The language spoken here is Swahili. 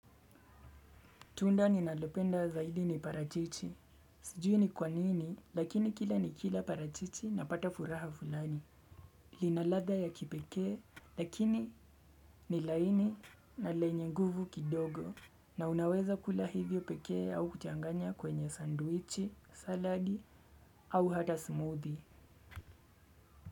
Tunda ninalependa zaidi ni parachichi. Sijui ni kwanini, lakini kila nikila parachichi napata furaha fulani. Ina ladha ya kipekee, lakini ni laini na lenye nguvu kidogo. Na unaweza kula hivyo pekee au kuchanganya kwenye sandwichi, saladi au hata smoothie.